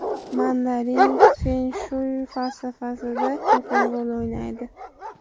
Mandarin fen-shuy falsafasida muhim rol o‘ynaydi.